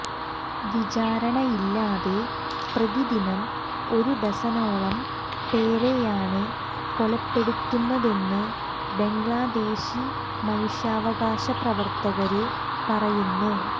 വിചാരണയില്ലാതെ പ്രതിദിനം ഒരു ഡസനോളം പേരെയാണ് കൊലപ്പെടുത്തുന്നതെന്ന് ബംഗ്ലാദേശി മനുഷ്യാവകാശ പ്രവര്ത്തകര് പറയുന്നു